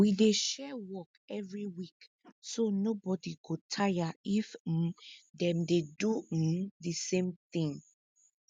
we dey share work every week so nobodi go tire if um dem dey do um di same thing